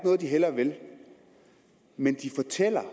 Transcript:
noget de hellere vil men de fortæller